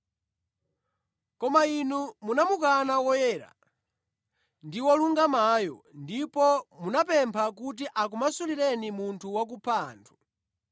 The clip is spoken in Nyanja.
Koma inu munamukana Woyera ndi Wolungamayo ndipo munapempha kuti akumasulireni munthu wakupha anthu.